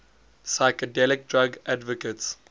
psychedelic drug advocates